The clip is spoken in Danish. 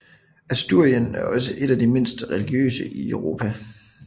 Asturien er også et af de mindst religiøse i Europa